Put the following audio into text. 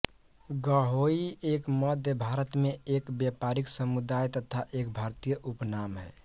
गहोई एक मध्य भारत में एक व्यापारी समुदाय तथा एक भारतीय उपनाम है